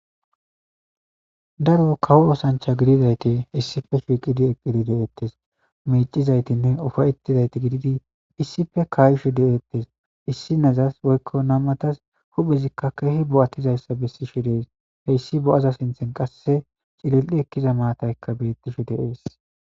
Daaro kawo oththanchcha giddidayti issippe shiqqidi eqqidi de'etes miccizaytine uffatidayti giddidi issippe kaishshe de'ettes issinezassi woykko nam'atas huphphezika kehidi bo'atidayssa bessishe dessi hessi bo'aza sinththan qasse cillili ekkiza maatayka bettishe de'ess.